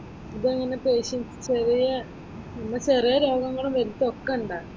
ഇതെങ്ങനെ പേഷ്യന്റ്സ് ചെറിയ നമ്മടെ ചെറിയ രോഗങ്ങളും വലുതും ഒക്കെ ഉണ്ടോ?